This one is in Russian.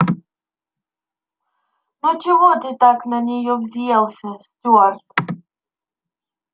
ну чего ты так на нее взъелся стюарт